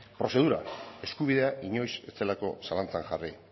eskubidea inoiz ez zelako zalantzan jarri